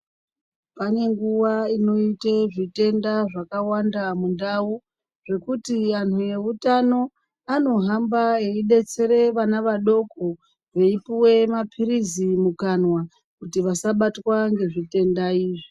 Pane nguwa inoita zvitenda zvakawanda mundau ekuti vantu vehutano vanohamba veidetsera vana vadoko veipuwa mapirizi mukanwa kuti vasabatwa nezvitenda izvi.